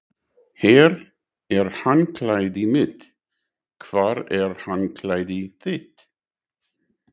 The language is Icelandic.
Hér er handklæðið mitt. Hvar er handklæðið þitt?